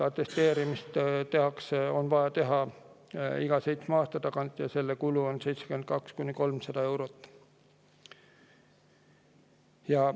Atesteerimist on vaja teha iga seitsme aasta tagant ja selle kulu on 72–300 eurot.